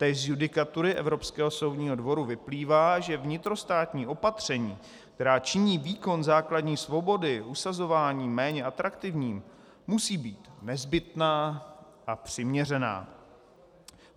Též z judikatury Evropského soudního dvora vyplývá, že vnitrostátní opatření, která činí výkon základní svobody usazování méně atraktivním, musí být nezbytná a přiměřená.